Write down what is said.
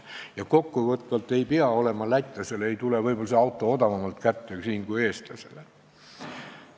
Ja kokku võttes võib-olla ei tule see auto lätlasele odavamalt kätte kui eestlasele.